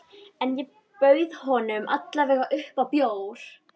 En ég bauð honum alla vega upp á bjór.